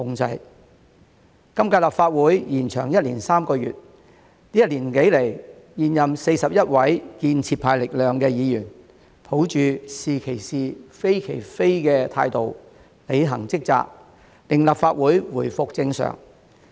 本屆立法會延長1年3個月，這一年多來，現任41名建設派力量的議員，抱着"是其是，非其非"的態度，履行職責，令立法會回復正常。